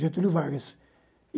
Getúlio Vargas.